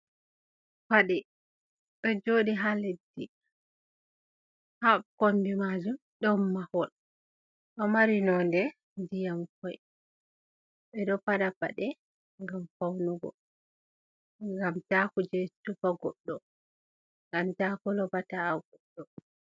Paɗe ɗo joɗi ha leddi. Ha kombi majum ɗon mahol, ɗo mari nonde ndiyam koi. Ɓeɗo faɗa paɗe gam faunugu. Gam ta kuje tufa goɗɗo, gam ta kolba ta'a goɗɗo.